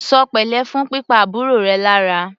Ṣọ pẹ̀lẹ́ fún pípa àbúrò rẹ lára!